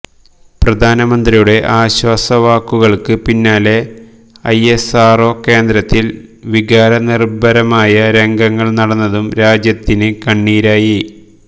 പ്രധാനമന്ത്രിയുടെ ആശ്വാസവാക്കുകൾക്ക് പിന്നാലെ ഐഎസ്ആർഒ കേന്ദ്രത്തിൽ വികാരനിർഭരമായ രംഗങ്ങൾ നടന്നതും രാജ്യത്തിന് കണ്ണീരായി